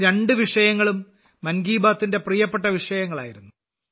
ഈ രണ്ട് വിഷയങ്ങളും മൻ കി ബാത്തിന്റെ പ്രിയപ്പെട്ട വിഷയങ്ങളായിരുന്നു